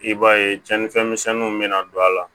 I b'a ye cɛnnifɛn misɛnninw bɛna don a la